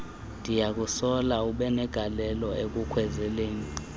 ndiyakusola ubenegalelo ekukhwezeleni